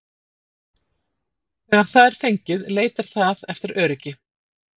Þegar það er fengið leitar það eftir öryggi.